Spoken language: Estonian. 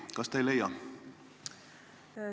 Kas te ei leia?